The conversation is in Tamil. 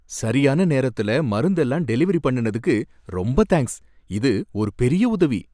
சரியான நேரத்துல மருந்தெல்லாம் டெலிவரி பண்ணுனதுக்கு ரொம்ப தேங்க்ஸ். இது ஒரு பெரிய உதவி.